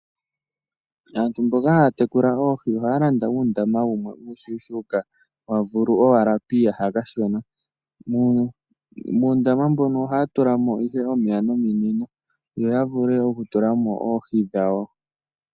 Aantu mboka haya tekula oohi ohaya landa uundama wumwe uushushuka wa vulu owala piiyaha kashona. Muundama mbuno oha tulamo ihe omeya nominino yo ya vule oku tulamo oohi dhawo.